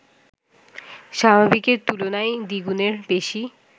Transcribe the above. স্বাভাবিকের তুলনায় দ্বিগুণের বেশি